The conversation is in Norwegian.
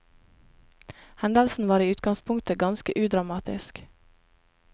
Hendelsen var i utgangspunktet ganske udramatisk.